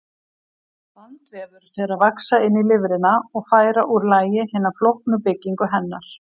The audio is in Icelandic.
Bandvefur fer að vaxa inn í lifrina og færa úr lagi hina flóknu byggingu hennar.